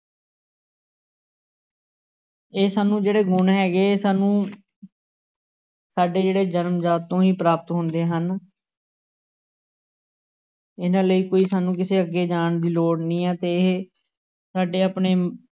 ਇਹ ਸਾਨੂੰ ਜਿਹੜੇ ਗੁਣ ਹੈਗੇ ਇਹ ਸਾਨੂੰ ਸਾਡੇ ਜਿਹੜੇ ਜਨਮਜਾਤ ਤੋਂ ਹੀ ਪ੍ਰਾਪਤ ਹੁੰਦੇ ਹਨ ਇਹਨਾਂ ਲਈ ਕੋਈ ਸਾਨੂੰ ਕਿਸੇ ਅੱਗੇ ਜਾਣ ਦੀ ਲੋੜ ਨਹੀਂ ਹੈ ਤੇ ਇਹ ਸਾਡੇ ਆਪਣੇ